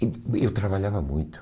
Eh eu trabalhava muito.